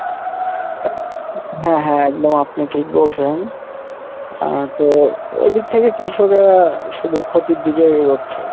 হ্যাঁ হ্যাঁ একদম আপনি ঠিক বলসেন এরপর এদিক থেকে কৃষকেরা শুধু ক্ষতির দিকেই এগোচ্ছে।